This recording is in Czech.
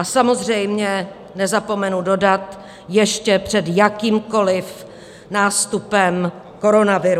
A samozřejmě nezapomenu dodat - ještě před jakýmkoliv nástupem koronaviru.